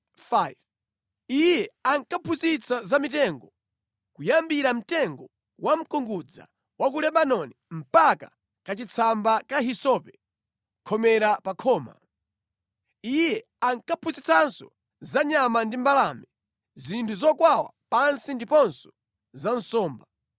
Iye ankaphunzitsa za mitengo, kuyambira mtengo wa mkungudza wa ku Lebanoni mpaka kachitsamba ka hisope khomera pa khoma. Iye ankaphunzitsanso za nyama ndi mbalame, zinthu zokwawa pansi ndiponso za nsomba.